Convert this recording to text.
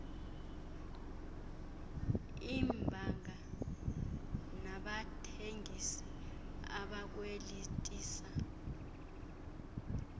iibhanka nabathengisi abakwelitisa